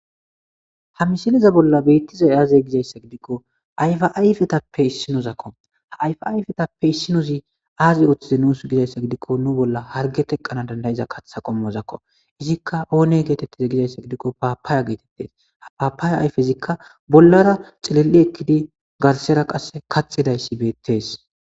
ha misiliza bolla beittizay aze gizayssa gidikko ayfa ayfetappe issinozakko haayfa ayfetappe issinozi aazi oththize nuus gizayssa gidikko nu bolla harge teqqana dandayiza katha qommozakko izikka oone geetettize gizayssa gidikko paapaaya geetettes ha paapaaya ayfezikka bollara cilil7i ekkidi garsera qasse kaxidayssi beettees